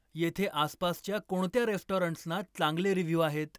येथे आसपासच्या कोणत्या रेस्टॉरंट्सना चांगले रिव्ह्यू आहेत